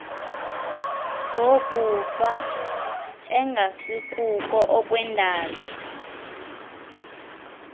zokufa engasikuko okwendalo